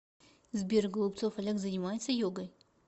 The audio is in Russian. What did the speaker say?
сбер голубцов олег занимается йогой